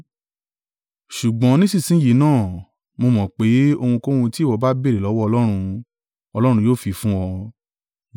Ṣùgbọ́n nísinsin yìí náà, mo mọ̀ pé, ohunkóhun tí ìwọ bá béèrè lọ́wọ́ Ọlọ́run, Ọlọ́run yóò fi fún ọ.”